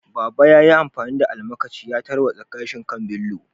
Baba yayi amfani da almakashi ya tarwatsa gashin kan Bello.